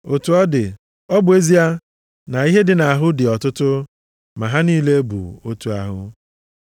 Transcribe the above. Otu ọ dị, ọ bụ ezie na ihe dị nʼahụ dị ọtụtụ, ma ha niile bụ otu ahụ.